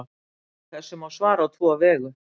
Þessu má svara á tvo vegu.